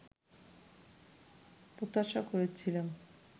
প্রত্যাশা করেছিলাম